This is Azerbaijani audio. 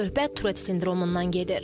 Söhbət Turet sindromundan gedir.